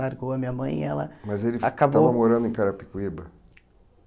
Largou a minha mãe e ela acabou... Mas ele estava morando em Carapicuíba?